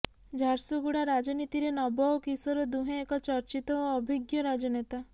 ଝାରସୁଗୁଡ଼ା ରାଜନୀତିରେ ନବ ଓ କିଶୋର ଦୁହେଁ ଏକ ଚର୍ଚ୍ଚିତ ଓ ଅଭିଜ୍ଞ ରାଜନେତା